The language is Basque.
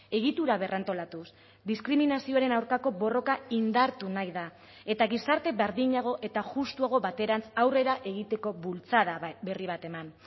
egitura berrantolatuz diskriminazioaren aurkako borroka indartu nahi da eta gizarte berdinago eta justuago baterantz aurrera egiteko bultzada berri bat eman